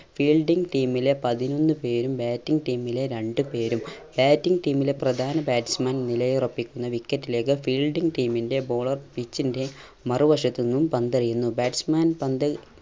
fielding team ലെ പതിനൊന്ന് പേരും batting team ലെ രണ്ട് പേരും batting team ലെ പ്രധാന batsman നിലയുറപ്പിക്കുന്ന wicket ലേക്ക് fielding team ൻറെ bowler pitch ൻറെ മറുവശത്തു നിന്നും പന്തെറിയുന്നു batsman പന്ത്